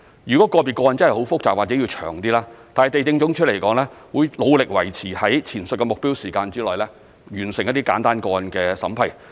如個別個案真的很複雜或需時長一點，地政總署都會努力維持在前述的目標時間內，完成一些簡單個案的審批。